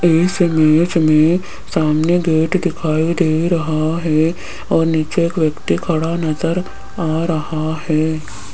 इस इमेज में सामने गेट दिखाई दे रहा है और नीचे एक व्यक्ति खड़ा नजर आ रहा है।